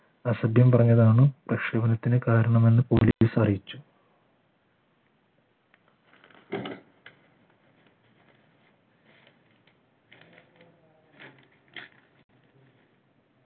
അസഭ്യം പറഞ്ഞതാണ് പ്രക്ഷോഭനത്തിന് കാരണമെന്ന് police അറിയിച്ചു